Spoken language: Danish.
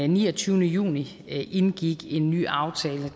niogtyvende juni indgik en ny aftale